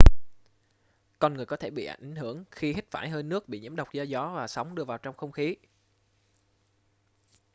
con người có thể bị ảnh hưởng khi hít phải hơi nước bị nhiễm độc do gió và sóng đưa vào trong không khí